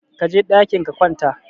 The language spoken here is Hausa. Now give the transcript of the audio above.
Kaje ɗakin ka wanta